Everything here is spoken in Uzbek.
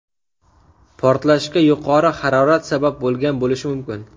Portlashga yuqori harorat sabab bo‘lgan bo‘lishi mumkin.